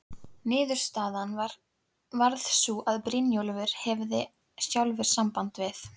Niðurstaðan varð sú að Brynjólfur hefði sjálfur samband við